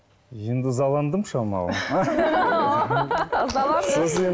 енді ызаландым шамалы